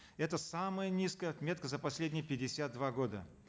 это самая низкая отметка за последние пятьдесят два года